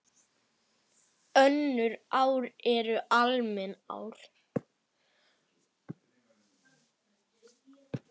Önnur ár eru almenn ár.